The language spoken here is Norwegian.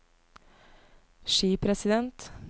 skipresident